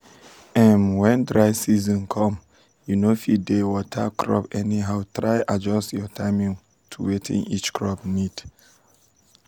um when dry um season come you no fit dey water crops anyhow try adjust your timing to wetin each crop need.